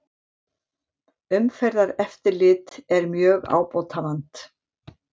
Umferðareftirlit er mjög ábótavant